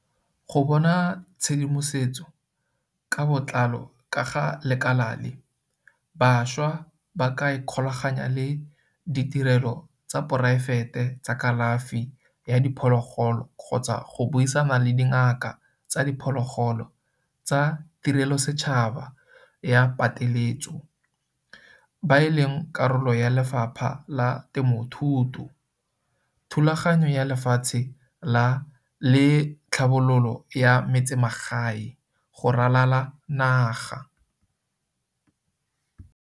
Go bona tshedimosetso ka botlalo ka ga lekala le, bašwa ba ka ikgolaganya le ditirelo tsa poraefete tsa kalafi ya diphologolo kgotsa go buisana le dingaka tsa diphologolo tsa tirelosetšhaba ya pateletso CCS ba e leng karolo ya Lefapha la Temothuo, Thulaganyo ya Lefatshe le Tlhabololo ya Metsemagae DALRRD go ralala naga.